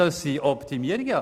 Das sind Optimierungen.